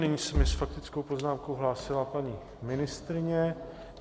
Nyní se mi s faktickou poznámkou hlásila paní ministryně.